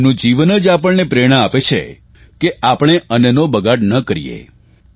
એમનું જીવન જ આપણને પ્રેરણા આપે છે કે આપણે અન્નનો બગાડ ન કરીએ